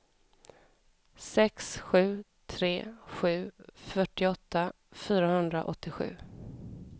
sex sju tre sju fyrtioåtta fyrahundraåttiosju